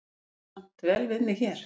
Ég kann samt vel við mig hér.